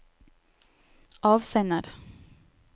avsender